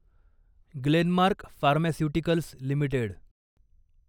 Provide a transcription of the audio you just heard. Glenmark Pharmaceuticals limited